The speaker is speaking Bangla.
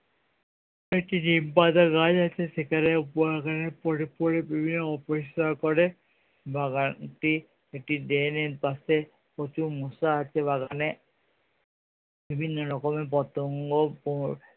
একটি নিমপাতা গাছ আছে সেখানে বাগানে পরে পরে অপরিষ্কার করে বাগানটি একটি ড্রেনের পাশে প্রচুর মশা আছে বাগানে বিভিন্ন রকমের পতঙ্গ